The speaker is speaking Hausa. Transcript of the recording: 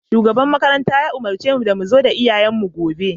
Shugaban makarantar ya umurce mu da mu zo da iyayenmu gobe